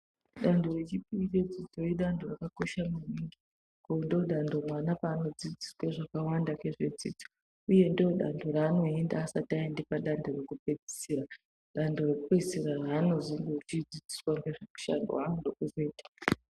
Dando rechipiri rinoenda antu rakakosha maningi ngoti ndodando mwana panodzidziswe zvakawanda ngezvedzidzo, uye ndodando ranoenda asati ayende pa dando rekupedzisira. Dando rekupedzisira ranozondochidzidziswa ngezvemushando wanode kuzoita